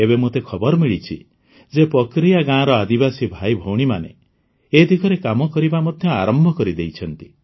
ଏବେ ମୋତେ ଖବର ମିଳିଛି ଯେ ପକରିୟା ଗାଁର ଆଦିବାସୀ ଭାଇଭଉଣୀମାନେ ଏ ଦିଗରେ କାମ କରିବା ମଧ୍ୟ ଆରମ୍ଭ କରିଦେଇଛନ୍ତି